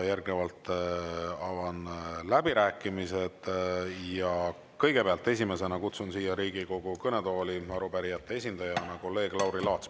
Järgnevalt avan läbirääkimised ja kõigepealt, esimesena kutsun siia Riigikogu kõnetooli arupärijate esindajana kolleeg Lauri Laatsi.